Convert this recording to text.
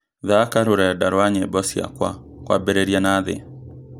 thaaka rũrnda rwa nyĩmbo ciakwa kwambĩrĩria na thĩ